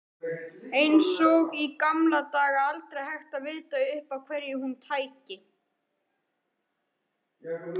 Eins og í gamla daga, aldrei hægt að vita upp á hverju hún tæki.